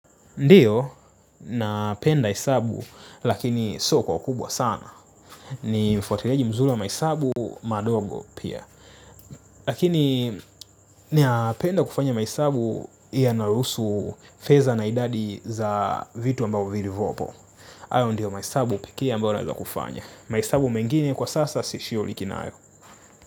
Ndiyo napenda hesabu lakini sio kwa ukubwa sana. Ni mfuatiliaji mzuri wa mahesabu madogo pia. Lakini ninapenda kufanya mahesabu yanayohusu fedha na idadi za vitu ambavyo vilivyopo hayo ndio mahesabu peke ambayo naeza kufanya. Mahesabu mengine kwa sasa sishughuliki nayo.